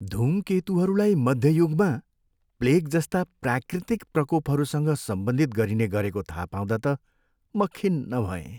धूमकेतुहरूलाई मध्य युगमा प्लेग जस्ता प्राकृतिक प्रकोपहरूसँग सम्बन्धित गरिने गरेको थाहा पाउँदा त म खिन्न भएँ।